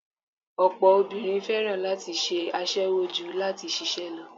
Ọ̀pọ̀ obìnrin fẹ́ràn láti ṣe aṣẹwó ju láti ṣiṣẹ́ lọ